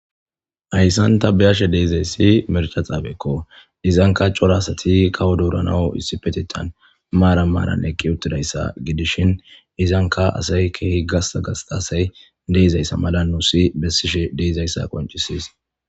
hayssanta beyashe deizayssi mercha xaabekko izanka cora asati kawo dooranaw issi petetan maara maaran ekki uttidayssa gidishin izanka asay keehi gasa gasta asay deizayssa mala nuussi bessishe deizayssa qoncisiis